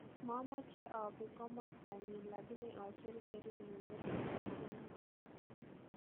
Momoche oobi komostonyin lagini oocher kerenyuun neter ogobonoton.